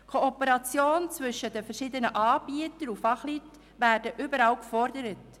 Die Kooperation zwischen den verschiedenen Anbietern und Fachleuten wird überall gefordert.